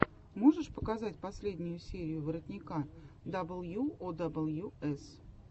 можешь показать последнюю серию воротника дабл ю о дабл ю эс